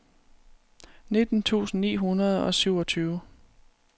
nitten tusind ni hundrede og syvogtyve